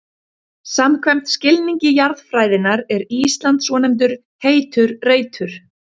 Samkvæmt skilningi jarðfræðinnar er Ísland svonefndur heitur reitur.